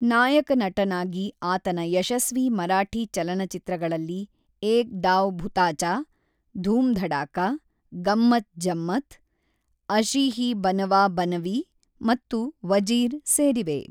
ನಾಯಕನಟನಾಗಿ ಆತನ ಯಶಸ್ವಿ ಮರಾಠಿ ಚಲನಚಿತ್ರಗಳಲ್ಲಿ ಏಕ್ ಡಾವ್ ಭುತಾಚಾ, ಧೂಮ್ ಧಡಾಕಾ, ಗಮ್ಮತ್ ಜಮ್ಮತ್, ಅಶೀ ಹೀ ಬನವಾ ಬನವೀ ಮತ್ತು ವಜೀರ್ ಸೇರಿವೆ.